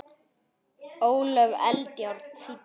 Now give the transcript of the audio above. Ólöf Eldjárn þýddi.